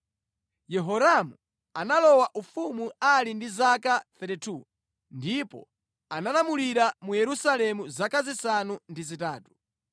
Yehoramu analowa ufumu ali ndi zaka 32, ndipo analamulira mu Yerusalemu zaka zisanu ndi zitatu.